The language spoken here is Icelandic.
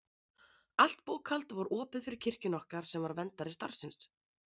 Allt bókhald var opið fyrir kirkjunni okkar sem var verndari starfsins.